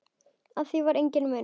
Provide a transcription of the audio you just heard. Á því var enginn munur.